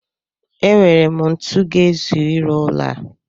E nwere m ntu ga-ezu ịrụ ụlọ a.